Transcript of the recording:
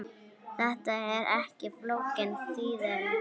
Þetta er ekki flókin þýðing.